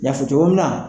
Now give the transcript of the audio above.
N y'a fɔ cogo min na